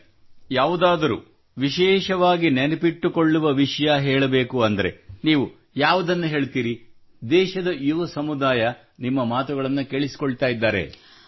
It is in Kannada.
ಸರಿ ಯಾವುದಾದರೂ ವಿಶೇಷವಾಗಿ ನೆನಪಿಟ್ಟುಕೊಳ್ಳುವ ವಿಷಯ ಹೇಳಬೇಕೆಂದರೆ ನೀವು ಯಾವುದನ್ನು ಹೇಳುವಿರಿ ದೇಶದ ಯುವ ಸಮುದಾಯ ನಿಮ್ಮ ಮಾತುಗಳನ್ನು ಕೇಳಿಸಿಕೊಳ್ಳುತ್ತಿದ್ದಾರೆ